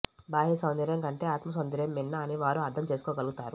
బాహ్య సౌందర్యం కంటే ఆత్మ సౌందర్యం మిన్న అని వారు అర్ధం చేసుకోగలుగుతారు